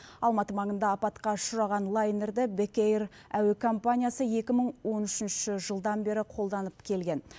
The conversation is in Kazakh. алматы маңында апатқа ұшыраған лайнерді бек эйр әуе компаниясы екі мың он үшінші жылдан бері қолданып келген